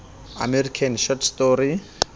american short story